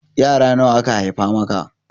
Yara nawa aka haifa maka?